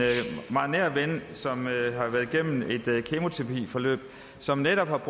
meget nær ven som har været igennem et kemoterapiforløb og som netop